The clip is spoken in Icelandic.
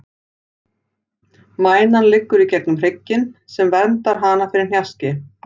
Mænan liggur í gegnum hrygginn, sem verndar hana fyrir hnjaski.